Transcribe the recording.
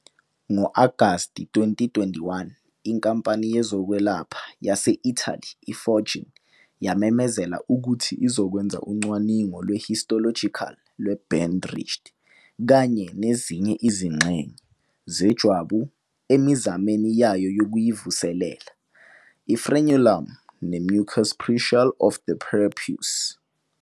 Ngo-Agasti 2021, inkampani yezokwelapha yase-Italy i-Foregen yamemezela ukuthi izokwenza ucwaningo lwe-histological lwe-band ridged, kanye nezinye izingxenye "zejwabu, emizameni yayo yokuyivuselela", i-frenulum, ne- mucus preutial of the prepuce.